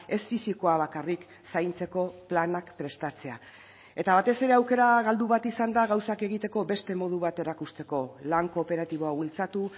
ez fisikoa bakarrik zaintzeko planak prestatzea eta batez ere aukera galdu bat izan da gauzak egiteko beste modu bat erakusteko lan kooperatiboa bultzatu